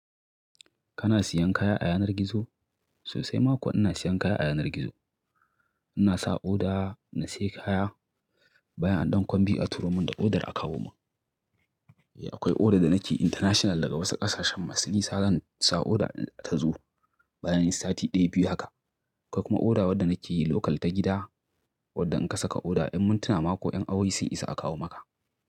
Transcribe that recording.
Kana siyan kaya a yanar gizo? Sosai mako ina siyan kaya a yanar gizo. Ina sa oda, na siya kaya, bayan a ɗan kwam biyu a turo mun da odar akawo mun. Eh akwai oda da nake international daga wasu ƙasashen masu nisa, zan sa oda ta zo bayan sati ɗaya, biyu haka. Akwai kuma oda wadda nake yi local ta gida, wadda in ka saka oda, in mun tuna mako, in a wuce isa a kawo maka.